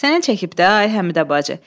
Sənə çəkib də, ay Həmidə bacı.